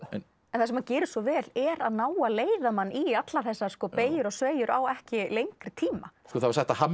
en það sem hann gerir svo vel er að ná að leiða mann í allar þessar beygjur og sveigjur á ekki lengri tíma það var sagt að